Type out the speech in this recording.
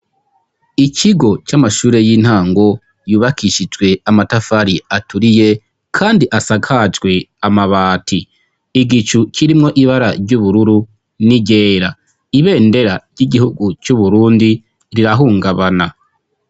Ikigo c'amashure y'intango yubakishijwe amatafari aturiye kandi asakajwe amabati. Igicu kirimwo ibara ry'ubururu n'iryera. Ibendera ry'igihugu c'uburundi rirahungabana.